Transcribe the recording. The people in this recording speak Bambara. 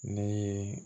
Ne ye